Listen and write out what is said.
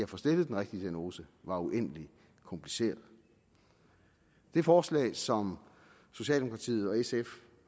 få stillet den rigtige diagnose var uendelig kompliceret det forslag som socialdemokratiet og sf